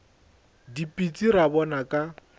ke dipitsi ra bona ka